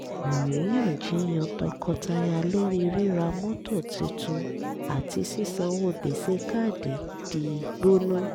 àríyànjiyàn tọkọtaya lórí rírà mọ́tò tuntun àti sísanwo gbèsè káàdì di gbóná